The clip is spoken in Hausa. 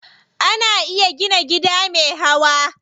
Ana iya gina gida me hawa.